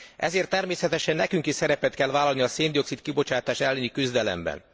Ezért természetesen nekünk is szerepet kell vállalni a szén dioxid kibocsátás elleni küzdelemben.